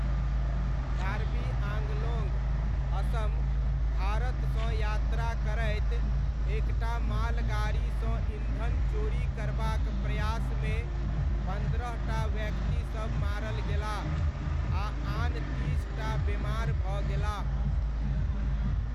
कार्बी आङ्गलोङ्ग, असम, भारतसँ यात्रा करैत एक टा मालगाड़ीसँ ईन्धन चोरी करबाक प्रयासमे पन्द्रह टा व्यक्तिसब मारल गेलाह आ आन तीस टा बेमार भऽ गेलाह।